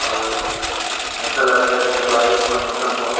और ऐसा लग रहा है जैसे बारिश का मौसम हो --